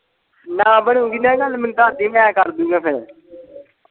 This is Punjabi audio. ਨਾ ਬਣੂਗੀ ਨਾ ਗੱਲ ਮੈਨੂੰ ਦੱਸ ਦੀ ਮੈਂ ਕਰਦੁਗਾ ਫੇਰ।